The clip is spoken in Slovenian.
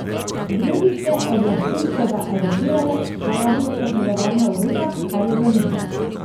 Gruzijske oblasti so ga aretirale zaradi posedovanja orožja, kar je zanikal.